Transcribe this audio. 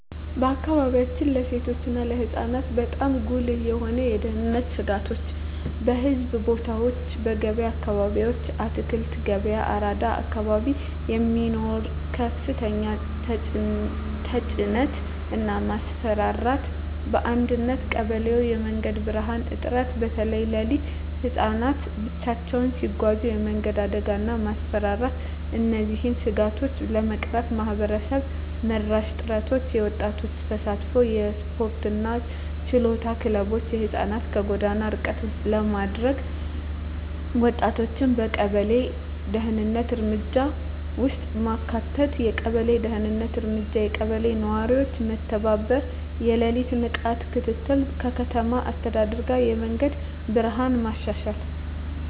በአካባቢያችን ለሴቶች እና ለህፃናት በጣም ጉልህ የሆኑ የደህንነት ስጋቶች :- በሕዝብ ቦታዎች *በገበያ አካባቢዎች (አትክልት ገበያ፣ አራዳ አካባቢ) የሚኖር ከፍተኛ ተጭነት እና ማስፈራራት *በአንዳንድ ቀበሌዎች የመንገድ ብርሃን እጥረት (በተለይ ሌሊት) *ህፃናት ብቻቸውን ሲጓዙ የመንገድ አደጋ እና ማስፈራራት እነዚህን ስጋቶች ለመቅረፍ ማህበረሰብ መራሽ ጥረቶች :- የወጣቶች ተሳትፎ *የስፖርትና የችሎታ ክለቦች (ህፃናትን ከጎዳና ርቀት ለማድረግ) *ወጣቶችን በቀበሌ የደህንነት እርምጃ ውስጥ ማካተት የቀበሌ ደህንነት እርምጃ *የቀበሌ ነዋሪዎች በመተባበር የሌሊት ንቃት ክትትል *ከከተማ አስተዳደር ጋር የመንገድ ብርሃን ማሻሻያ